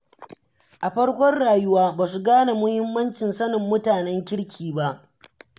A farkon rayuwa, ba su gane muhimmancin sanin mutanen kirki ba.